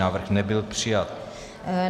Návrh nebyl přijat.